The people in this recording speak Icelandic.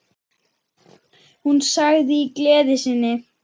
Hún sagði í gleði sinni: